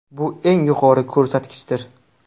Bu eng yuqori ko‘rsatkichdir.